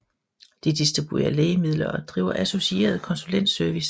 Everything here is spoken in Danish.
De distribuerer lægemidler og driver associeret konsulentservice